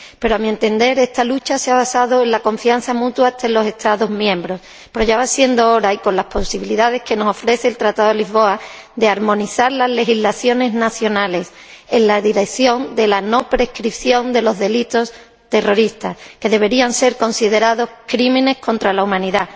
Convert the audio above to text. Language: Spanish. A mi entender, esta lucha se ha basado en la confianza mutua entre los Estados miembros, pero ya va siendo hora, con las posibilidades que nos ofrece el Tratado de Lisboa, de armonizar las legislaciones nacionales en la dirección de la no prescripción de los delitos terroristas, que deberían ser considerados crímenes contra la humanidad.